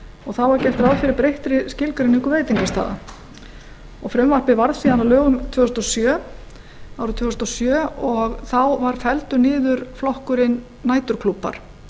og þá er gert ráð fyrir breyttri skilgreiningu veitingastaða frumvarpið varð síðan að lögum árið tvö þúsund og sjö og þá var felldur niður flokkurinn næturklúbbar